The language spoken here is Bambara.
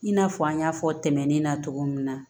I n'a fɔ an y'a fɔ tɛmɛnen na cogo min na